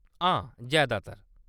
हां, जैदातर।